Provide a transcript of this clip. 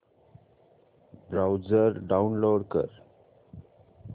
browser download कर